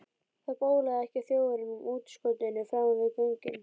Það bólaði ekki á Þjóðverjunum á útskotinu framan við göngin.